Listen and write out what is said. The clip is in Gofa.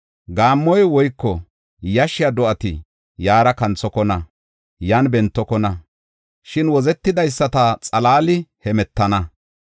Gaammoy woyko yashshiya do7ati yaara kanthokona; yan bentokona; shin wozetidaysata xalaali hemetana.